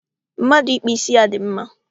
Mmadụ ịkpụ ísí ya dị mma